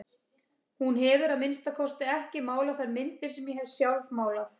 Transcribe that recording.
Hún hefur að minnsta kosti ekki málað þær myndir sem ég hef sjálf málað.